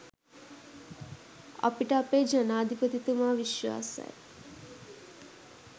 අපිට අපේ ජනාධිපතිතුමා විශ්වාසයි.